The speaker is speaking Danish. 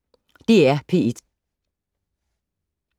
DR P1